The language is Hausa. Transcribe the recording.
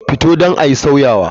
Fito don ayi sauyawa.